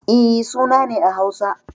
E, suna ne a Hausa.